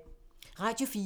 Radio 4